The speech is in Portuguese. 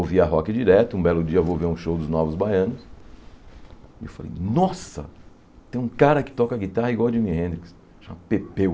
Ouvia rock direto, um belo dia eu vou ver um show dos Novos Baianos, e eu falei, nossa, tem um cara que toca guitarra igual ao Jimi Hendrix, chama Pepeu.